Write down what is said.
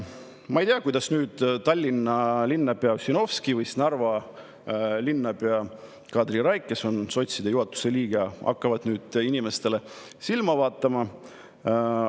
Ma ei tea, kuidas Tallinna linnapea Ossinovski või Narva linnapea Katri Raik, kes on sotside juhatuse liige, hakkavad nüüd inimestele silma vaatama.